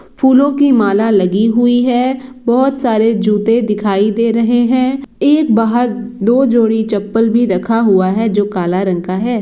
फूलों की माला लगी हुई है बहोत सारे जूते दिखाई दे रहे है एक बाहर दो जोड़ी चप्पल भी रखा हुआ है जो काला रंग का है।